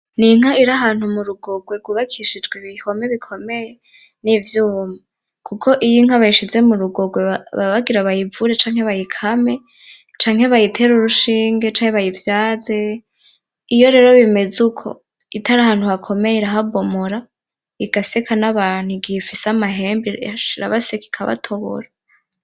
N'inka iri ahantu mu rugogwe rwubakishijwe ibihome bikomeye n'ivyuma, kuko iyo inka bayishize mu rugogwe baba bagira bayivure, canke bayikame, canke bayitere urushinge, canke bayivyaze, iyo rero bimeze uko itari ahantu hakomeye irahabomora, igaseka n'abantu igihe ifise amahembe, asha irabaseka ikabatobora.